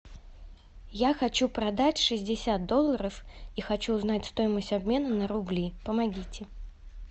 я хочу продать шестьдесят долларов и хочу узнать стоимость обмена на рубли помогите